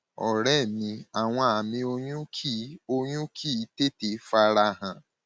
ọrẹ mi àwọn àmì oyún kì í oyún kì í tètè fara hàn